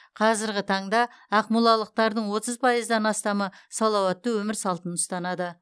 қазіргі таңда ақмолалықтардың отыз пайыздан астамы салауатты өмір салтын ұстанады